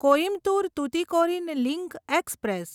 Coimbatore Tuticorin link express